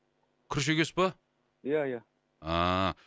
күріш егесіз ба ия ия ааа